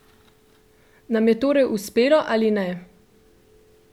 Nam je torej uspelo ali ne?